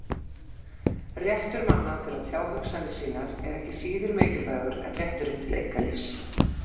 Réttur manna til að tjá hugsanir sínar er ekki síður mikilvægur en rétturinn til einkalífs.